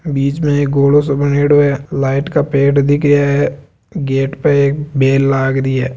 बीच में एक गोलो सो बनेड़ॉ है लाइट का पेड़ दिख रा है गेट पे एक बेल लाग रही है।